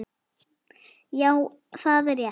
Já, það er rétt.